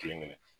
Kelen kelen